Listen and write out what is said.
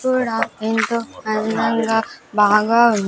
కూడా ఎంతో అందంగా బాగా ఉం--